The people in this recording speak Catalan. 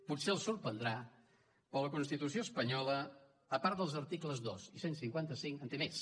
potser els sorprendrà però la constitució espanyola a part dels articles dos i cent i cinquanta cinc en té més